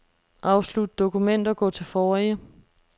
Afslut dokument og gå til forrige.